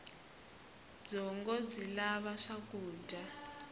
byongo byi lava swakudya